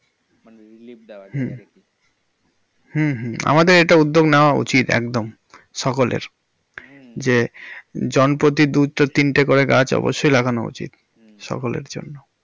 যায় কিছুটা। হুম হুম। আমাদের এটা উদ্যোগ নাওয়া উচিত একদম সকলের, যে জন প্রতি দুই থেকে তিনটে করে গাছ অবশই লাগানো উচিত সকলের জন্য।